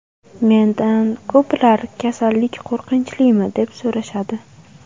Mendan ko‘plar kasallik qo‘rqinchlimi, deb so‘rashadi.